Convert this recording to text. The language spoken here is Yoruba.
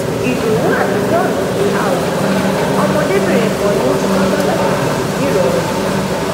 ìdòwú àti john ti há ọ ọmọdébìnrin kan ni wọn fipá bá láṣepọ ńlọrọrìn